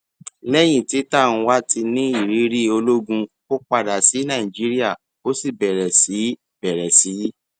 lẹyìn tí tanwa ti ní ìrírí ológun ó padà sí nàìjíríà ó sì bèrè sí í bèrè sí í